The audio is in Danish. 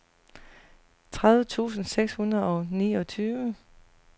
tredive tusind seks hundrede og niogtredive